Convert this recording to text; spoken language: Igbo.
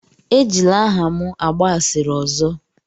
Ejila aha m agba asịrị ọzọ!